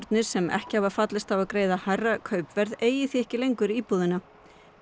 sem ekki hafi fallist á að greiða hærra kaupverð eigi ekki lengur íbúðina